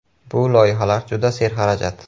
Bu loyihalar juda serxarajat.